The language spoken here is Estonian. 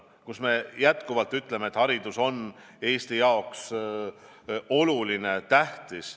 Me ütleme jätkuvalt, et haridus on Eesti jaoks oluline, tähtis.